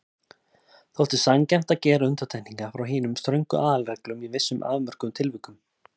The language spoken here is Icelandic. Þótti sanngjarnt að gera undantekningar frá hinum ströngu aðalreglum í vissum afmörkuðum tilvikum.